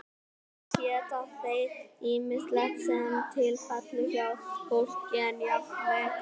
auk þess éta þeir ýmislegt sem til fellur hjá fólki og jafnvel hræ